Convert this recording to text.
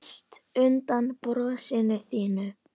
Mest undan brosinu þínu.